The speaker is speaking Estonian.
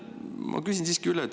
Ma küsin siiski üle.